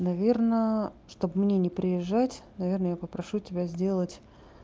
наверное чтобы мне не приезжать наверное я попрошу тебя сделать